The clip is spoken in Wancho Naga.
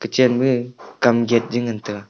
chenmae kam gate je ngain taiga.